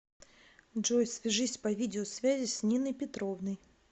джой свяжись по видеосвязи с ниной петровной